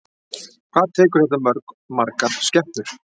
Hvað tekur þetta mörg, margar skepnur?